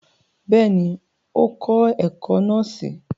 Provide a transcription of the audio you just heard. Bẹ́ẹ̀ni, o kọ ẹkọ nọọsi